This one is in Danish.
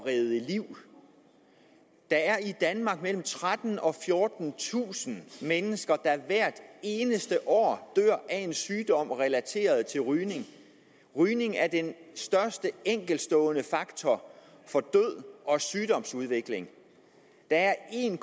redde liv der er i danmark mellem trettentusind og fjortentusind mennesker der hvert eneste år dør af en sygdom relateret til rygning rygning er den største enkeltstående faktor for død og sygdomsudvikling der er en